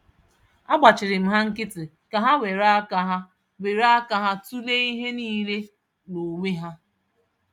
Agbachịrịm ha nkịtị ka ha wéré ka ha wéré aka ha tulee ihe nile n'onwe ha.